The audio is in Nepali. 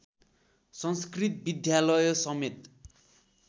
संस्कृत विद्यालय समेत